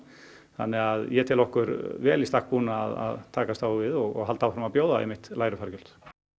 þannig að ég tel okkur vel í stakk búna að takast á við og halda áfram að bjóða einmitt lægri fargjöld